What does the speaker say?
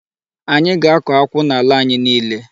Anyị ga-akọ akwụ n'ala anyị niile.